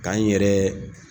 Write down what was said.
Ka n yɛrɛ